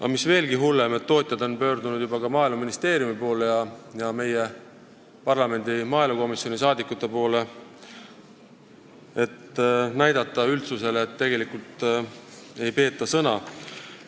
Aga mis veelgi hullem, tootjad on pöördunud juba ka Maaeluministeeriumi ja parlamendi maaelukomisjoni poole, näitamaks üldsusele, et tegelikult ei peeta sõna.